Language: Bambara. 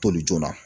Toli joona